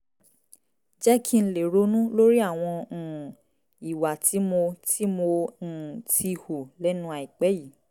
jẹ́ kí n lè ronú lórí àwọn um ìwà tí mo tí mo um ti hù lẹ́nu àìpẹ́ yìí